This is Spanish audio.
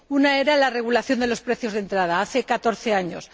Una era la regulación de los precios de entrada, hace catorce años.